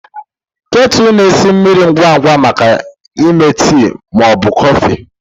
Ketu na-esi mmiri ngwa ngwa maka ịme tii ma ọ bụ kọfị.